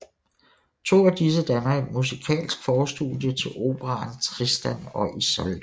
To af disse danner et musikalsk forstudie til operaen Tristan og Isolde